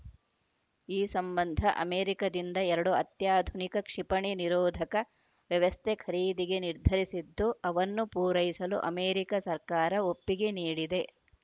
ಈ ಸಂಬಂಧ ಅಮೆರಿಕದಿಂದ ಎರಡು ಅತ್ಯಾಧುನಿಕ ಕ್ಷಿಪಣಿ ನಿರೋಧಕ ವ್ಯವಸ್ಥೆ ಖರೀದಿಗೆ ನಿರ್ಧರಿಸಿದ್ದು ಅವನ್ನು ಪೂರೈಸಲು ಅಮೆರಿಕ ಸರ್ಕಾರ ಒಪ್ಪಿಗೆ ನೀಡಿದೆ